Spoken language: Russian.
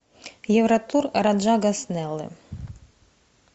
евротур раджа гаснеллы